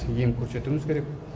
ем көрсетуіміз керек